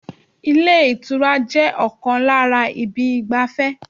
Ilé ìtura jẹ́ ọ̀kan lára ibi ìgbafẹ́